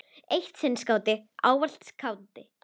Eitt sinn skáti, ávallt skáti.